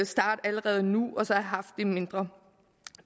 starte allerede nu og så have haft det mindre